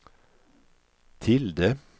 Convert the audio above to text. tilde